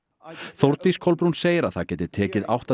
Þórdís Kolbrún segir að það geti tekið átta